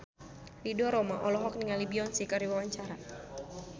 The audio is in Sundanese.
Ridho Roma olohok ningali Beyonce keur diwawancara